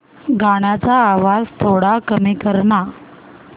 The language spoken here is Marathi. गाण्याचा आवाज थोडा कमी कर ना